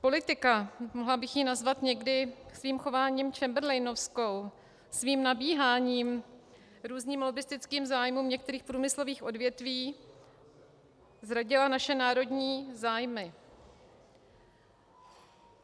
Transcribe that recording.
Politika, mohla bych ji nazvat někdy svým chováním chamberlainovskou, svým nabíháním různým lobbistickým zájmům některých průmyslových odvětví, zradila naše národní zájmy.